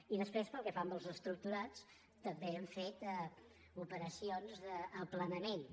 i després pel que fa als estructurats també hem fet operacions d’aplanaments